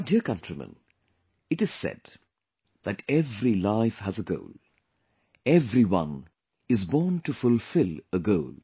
My dear countrymen, it is said that every life has a goal; everyone is born to fulfill a goal